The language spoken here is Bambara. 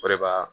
O de b'a